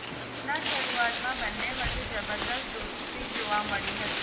શોનાં શરૂઆતમાં બન્ને વચ્ચે જબ્બરદસ્ત દોસ્તી જોવા મળી હતી